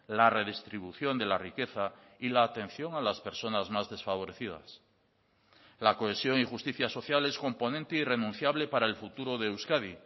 la redistribución de la riqueza y la atención a las personas más desfavorecidas la cohesión y justicia social es componente irrenunciable para el futuro de euskadi